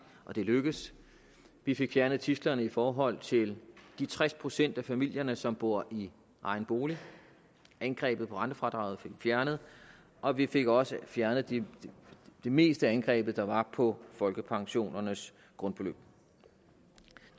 og det lykkedes vi fik fjernet tidslerne i forhold til de tres procent af familierne som bor i egen bolig angrebet på rentefradraget fik vi fjernet og vi fik også fjernet det meste angreb der var på folkepensionernes grundbeløb